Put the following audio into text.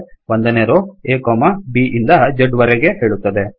ಒಂದನೇ ರೋ ಆ b ಇಂದ zವರೆಗೆ ಹೇಳುತ್ತದೆ